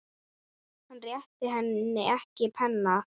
Hann réttir henni ekki penna.